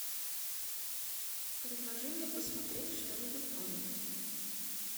предложи мне посмотреть что нибудь новенькое